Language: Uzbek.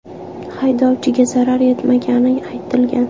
Haydovchiga zarar yetmagani aytilgan.